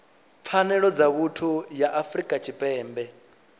pfanelo dza vhuthu ya afrika tshipembe